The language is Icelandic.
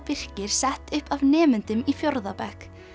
Birkir sett upp af nemendum í fjórða bekk